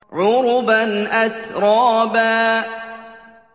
عُرُبًا أَتْرَابًا